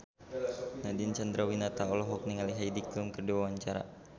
Nadine Chandrawinata olohok ningali Heidi Klum keur diwawancara